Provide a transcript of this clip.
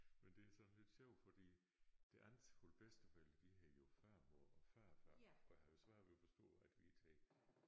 Men det sådan lidt sjovt fordi det andet hold bedsteforældre de hedder jo farmor og farfar og havde jo svært ved at forstå at vi ikke tager